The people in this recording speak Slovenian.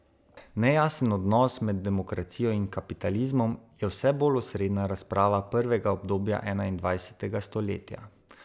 Nejasen odnos med demokracijo in kapitalizmom je vse bolj osrednja razprava prvega obdobja enaindvajsetega stoletja.